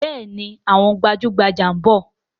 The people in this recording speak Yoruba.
Bẹẹni, àwọn gbajugbaja ń bọ̀